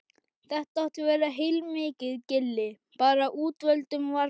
Þetta átti að vera heilmikið gilli, bara útvöldum var boðið.